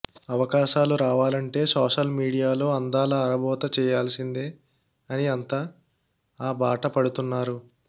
అవకాశాలు రావాలంటే social media లో అందాల ఆరబోత చేయాల్సిందే అని అంత ఆ బాట పడుతున్నారు